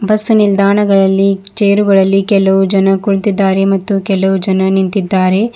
Bus ನಿಲ್ದಾಣ ಗಳಲ್ಲಿ ಚೇರುಗಳಲ್ಲಿ ಕೆಲವು ಜನ ಕುಳಿತಿದ್ದಾರೆ ಮತ್ತು ಕೆಲವು ಜನ ನಿಂತಿದ್ದಾರೆ.